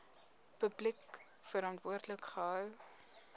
publiek verantwoordelik gehou